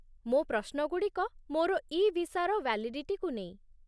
ମୋ' ପ୍ରଶ୍ନଗୁଡ଼ିକ ମୋର ଇ ଭିସାର ଭ୍ୟାଲିଡିଟିକୁ ନେଇ ।